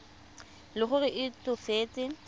e le gore o tsofetse